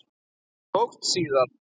Það tókst síður.